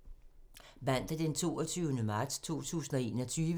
Mandag d. 22. marts 2021